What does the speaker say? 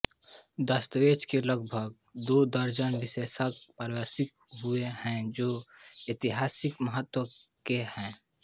दस्तावेज के लगभग दो दर्जन विशेषांक प्रकाशित हुए हैं जो ऐतिहासिक महत्व के हैं